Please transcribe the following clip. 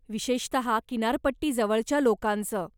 विशेषतः किनारपट्टी जवळच्या लोकांच.